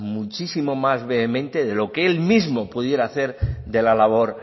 muchísimo más vehemente de lo que él mismo pudiera hacer de la labor